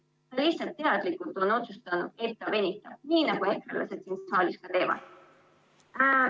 Ta lihtsalt teadlikult on otsustanud, et ta venitab, nii nagu ekrelased ka siin saalis teevad.